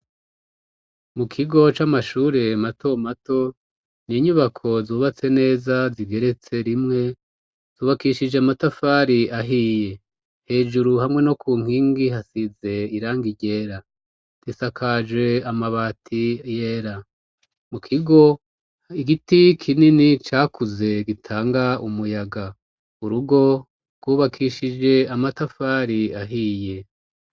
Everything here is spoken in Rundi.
Mu kigo c'amashure mato mato ni inyubako zubatse neza zigeretse rimwe zubakishije matafari ahiye hejuru hamwe no ku nkingi hasize iranga iryera disakaje amabati yera mu kigo igiti kinine ni cakuze gitanga umuyaga urugo rwubakishije amatafari ahiye.